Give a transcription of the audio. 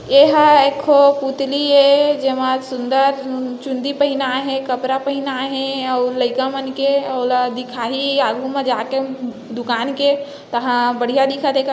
एहा एक ठो पुतली ये जेमा सुन्दर चुंदी पहिनाए हे कपरा पहिनाये हे अऊ लईका मन के ओला दिखाही आगु म जाके दुकान के तहा बढ़िया दिखत हे का--